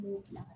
N b'o gilan